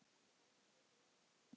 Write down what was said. Textinn situr vel á síðum.